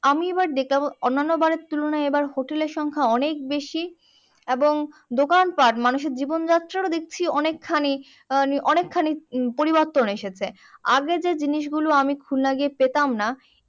আমি এবারে দেখলাম অন্যান্য বারের তুলনায় এবারে hotel এর সংখ্যা অনেক বেশি এবং দোকান পাট মানুষের জীবন যাত্রার ও দেখছি অনেকখানি আহ অনেকখানি উম পরিবর্তন এসেছে আগে যে জিনিস গুলো আমি খুলনা গিয়ে পেতাম না